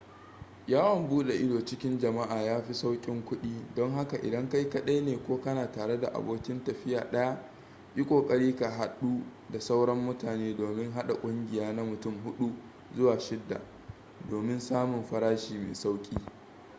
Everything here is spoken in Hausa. yawan bude ido cikin jama'a ya fi saukin kudi don haka idan kai kadai ne ko kana tare da abokin tafiya daya yi kokari ka hadu da sauran mutane domin hada kungiya na mutum hudu zuwa shidda domin samun farashi mai sauki